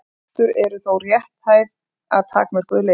Fóstur eru þó rétthæf að takmörkuðu leyti.